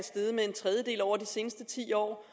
af over de seneste ti år